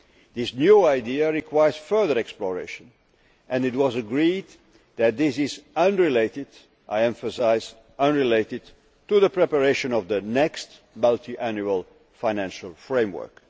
area. This new idea requires further exploration and it was agreed that this is unrelated I emphasise unrelated' to the preparation of the next multiannual financial framework.